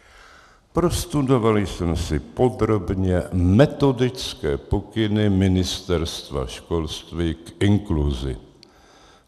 Prostudoval jsem si podrobně metodické pokyny Ministerstva školství k inkluzi.